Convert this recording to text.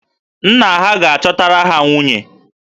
Nne ha ga-achọtara ha nwunye